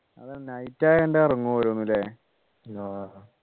അത് night ആയോണ്ട് ഉറങ്ങും ഓരോന്നു ല്ലേ